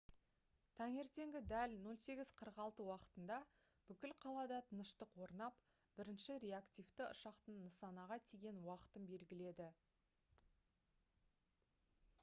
таңертеңгі дәл 08:46 уақытында бүкіл қалада тыныштық орнап бірінші реактивті ұшақтың нысанаға тиген уақытын белгіледі